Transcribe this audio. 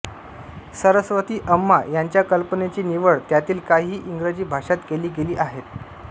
सरस्वती अम्मा यांच्या कल्पनेची निवड त्यातील काही इंग्रजी भाषांत केली गेली आहेत